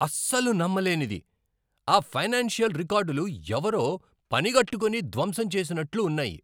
అస్సలు నమ్మలేనిది! ఆ ఫైనాన్షియల్ రికార్డులు ఎవరో పనిగట్టుకుని ధ్వంసం చేసినట్లు ఉన్నాయి!